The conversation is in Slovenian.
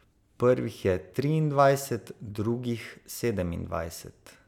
Prvih je triindvajset, drugih sedemindvajset.